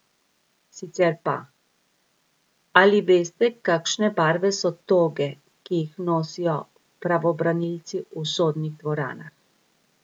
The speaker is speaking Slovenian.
Sicer pa, ali veste, kakšne barve so toge, ki jih nosijo pravobranilci v sodnih dvoranah?